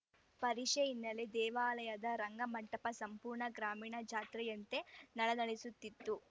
ಪರಿಷೆ ಹಿನ್ನೆಲೆ ದೇವಾಲಯದ ರಂಗಮಂಟಪ ಸಂಪೂರ್ಣ ಗ್ರಾಮೀಣ ಜಾತ್ರೆಯಂತೆ ನಳನಳಿಸುತ್ತಿತ್ತು